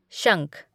शंख